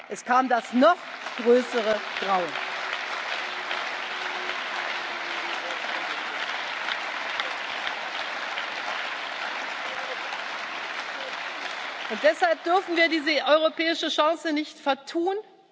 Es kam das noch größere Grauen. Deshalb dürfen wir diese europäische Chance nicht